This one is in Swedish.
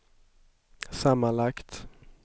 sammanlagt